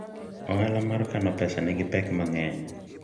ohala mar kano pesa nigi pek mang'eny